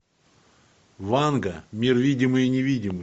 ванга мир видимый и невидимый